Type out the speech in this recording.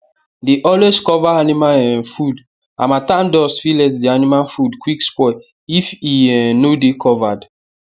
dey always cover animal um food harmattan dust fit let the animal food quick spoil if e um no dey covered